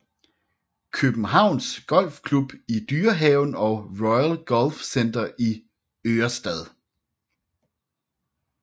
Københavns Golf Klub i Dyrehaven og Royal Golf Center i Ørestad